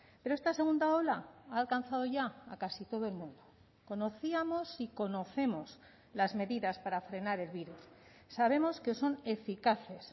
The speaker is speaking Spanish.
pero esta segunda ola ha alcanzado ya a casi todo el mundo conocíamos y conocemos las medidas para frenar el virus sabemos que son eficaces